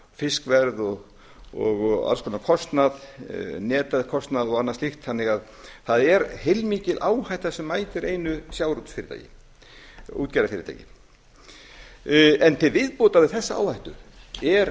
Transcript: fiskverð og alls konar kostnað netakostnað og annað slíkt þannig að það er heilmikil áhætta sem mætir einu sjávarútvegsfyrirtæki útgerðarfyrirtæki en til viðbótar við þessa áhættu er